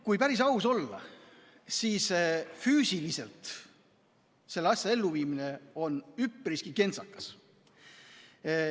Kui päris aus olla, siis füüsiliselt on selle asja elluviimine üpriski kentsakas.